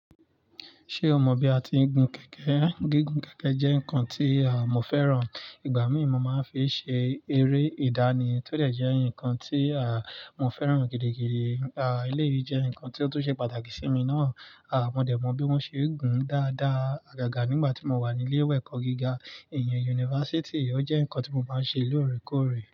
Ṣé o mọ bí a ti ń gun kẹ̀kẹ́? Gígùn kẹ̀kẹ́ jẹ́ nǹkan tí à mọ́ fẹ́ràn. Ìgbà míì mo máa ń fi ṣe eré ìdánì tó jẹ́ nǹkan tí àmọ́ fẹ́ràn gidigidi. À eléyìí jẹ́ nǹkan tó tún ṣe pàtàkì sí mi náà. À mọ́ dẹ̀ mọ bí wọ́n ṣe ń gùn dáadáa àgàgà nígbà tí mo wà ní ilé ẹ̀kọ́ gíga, ìyẹn yunifásítì. Ó jẹ́ nǹkan tí mo máa ń ṣe lóòrèkóòrè.